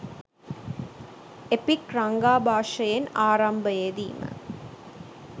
epic රංගාභාෂයෙන් ආරාම්භයේදීම